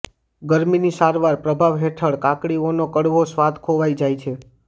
ગરમીની સારવારના પ્રભાવ હેઠળ કાકડીઓનો કડવો સ્વાદ ખોવાઈ જાય છે